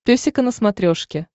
песика на смотрешке